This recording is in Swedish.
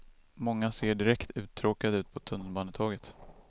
Många ser direkt uttråkade ut på tunnelbanetåget.